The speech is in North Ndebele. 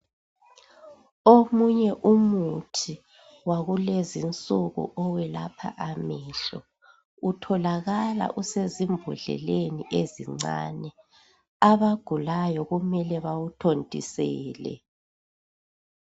Omunye umuthi Wakulezi insuku owelapha amehlo utholakala usezimbodleleni ezincane abagulayo kumele bawuthontisele